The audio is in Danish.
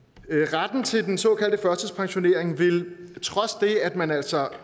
retten til den såkaldte førtidspensionering vil trods det at man altså